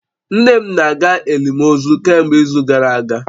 Nne m na-aga elimozu kemgbe izu gara aga